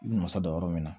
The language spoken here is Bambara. I bɛ masa dɔ yɔrɔ min na